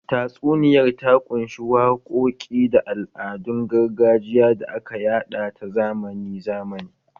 Tatsuniyar ta ƙunshi waƙoƙi da al'adun gargajiya da aka yada ta zamani zamani